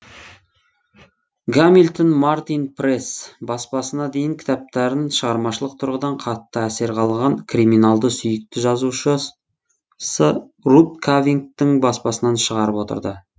гамильтон мартин пресс баспасына дейін кітаптарын шығармашылық тұрғыдан қатты әсер қалған криминалды сүйікті жазушы рут кавинттың баспасынан шығарып отырды